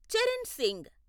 Charan Singh